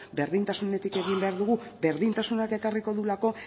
berdintasunetik egin behar dugu berdintasunak ekarriko duelako